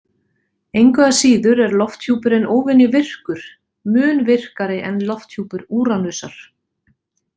Engu að síður er lofthjúpurinn óvenjuvirkur, mun virkari en lofthjúpur Úranusar.